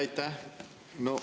Aitäh!